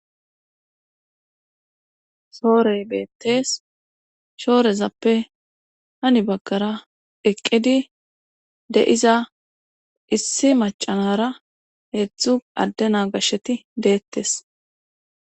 soorey beettes shoorezappe hani baggara eqqidi de'iza issi macanara heedzdzu adde na gashsheti deettes